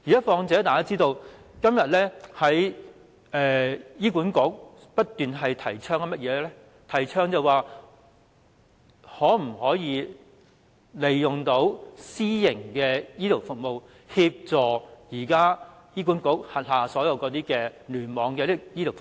況且，大家也知道，醫院管理局現正不斷提倡可否利用私營醫療服務來協助現時醫管局聯網的醫療服務？